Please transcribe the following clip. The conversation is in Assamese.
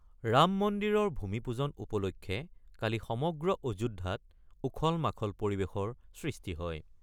ৰাম মন্দিৰৰ ভূমি পূজন উপলক্ষে কালি সমগ্ৰ অযোধ্যাত উখল-মাখল পৰিৱেশৰ সৃষ্টি হয়।